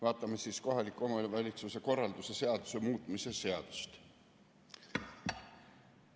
Vaatame siis kohaliku omavalitsuse korralduse seaduse muutmise seadust.